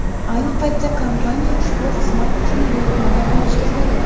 Ayni paytda kompaniya ushbu xizmat uchun buyurtmalar olishga tayyor.